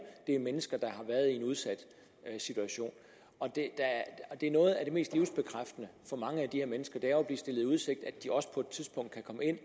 det er mennesker der har været i en udsat situation noget af det mest livsbekræftende for mange af de her mennesker er jo at blive stillet i udsigt at de også på et tidspunkt kan komme ind